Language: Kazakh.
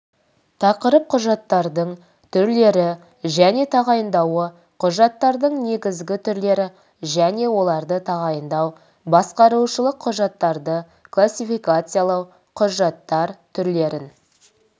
тақырып құжаттардың түрлері және тағайындауы құжаттардың негізгі түрлері және оларды тағайындау басқарушылық құжаттарды классификациялау құжаттар түрлерін